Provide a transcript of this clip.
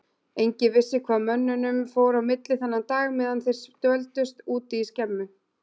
Enginn vissi hvað mönnunum fór á milli þennan dag meðan þeir dvöldust úti í skemmu.